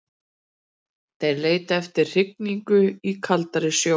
Þeir leita eftir hrygningu í kaldari sjó.